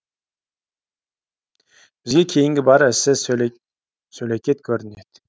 бізге кейінгі бар ісі сөлекет көрінеді